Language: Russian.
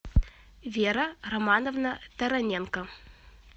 вера романовна тараненко